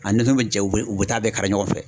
A ni fɛn bɛ cɛw u bɛ u bɛ taa bɛɛ kari ɲɔgɔn fɛ.